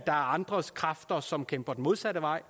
er andre kræfter som kæmper den modsatte vej